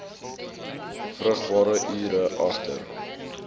vrugbare ure agter